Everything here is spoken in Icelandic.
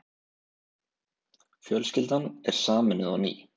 Fjölskyldan er sameinuð á ný.